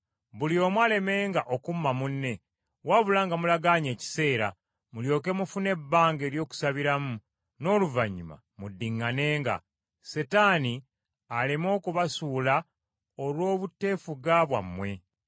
Buli omu alemenga okumma munne wabula nga mulagaanye ekiseera mulyoke mufune ebbanga ery’okusabiramu n’oluvannyuma muddiŋŋanenga, Setaani aleme okubasuula olw’obuteefuga bwammwe.